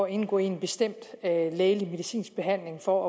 indgå i en bestemt lægelig medicinsk behandling for